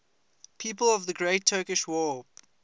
people of the great turkish war